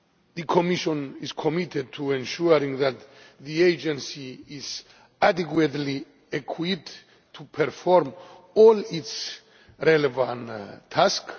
The Commission is committed to ensuring that the agency is adequately equipped to perform all its relevant tasks.